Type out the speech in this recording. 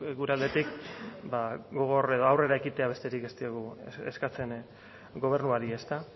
gure aldetik gogor edo aurrera ekitea besterik ez diogu eskatzen gobernuari ezta